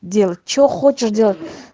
делать чего хочешь делать